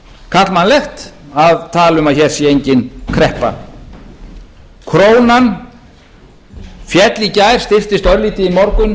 karlmannlegt að tala um að hér sé engin kreppa krónan féll í gær styrktir örlítið í morgun